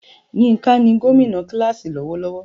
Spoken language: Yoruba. Yinka ni gómìnà kíláàsì lọ́wọ́lọ́wọ́.